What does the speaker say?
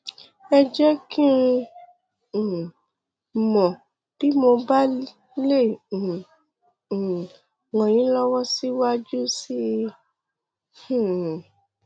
ẹ jẹ kí um n mọ bí mo bá lè um um ràn yín lọwọ síwájú sí i um